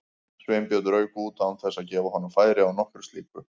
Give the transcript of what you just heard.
Sveinbjörn rauk út án þess að gefa honum færi á nokkru slíku.